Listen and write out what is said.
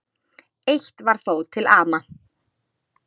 Eitt var þó til ama.